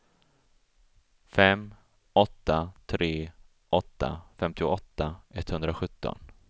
fem åtta tre åtta femtioåtta etthundrasjutton